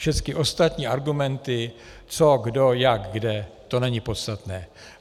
Všechny ostatní argumenty, co, kdo, jak, kde, to není podstatné.